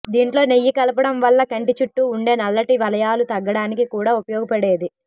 దీంట్లో నెయ్యి కలపడం వల్ల కంటి చుట్టూ ఉండే నల్లటి వలయాలు తగ్గడానికి కూడా ఉపయోగపడేది